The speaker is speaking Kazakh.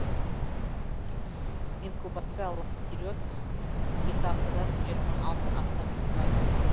инкубациялық период екі аптадан жиырма алты аптаны құрайды